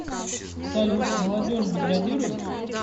салют молодежь деградирует